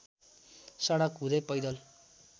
सडक हुँदै पैदल